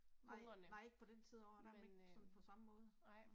Hungrende. Nåh men øh, nej